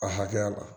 A hakɛya la